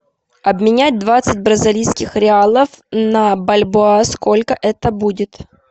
обменять двадцать бразильских реалов на бальбоа сколько это будет